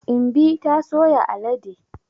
Imbi ta soya alade.